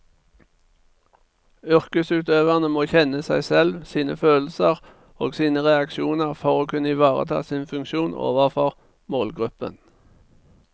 Yrkesutøverne må kjenne seg selv, sine følelser og sine reaksjoner for å kunne ivareta sin funksjon overfor målgruppen.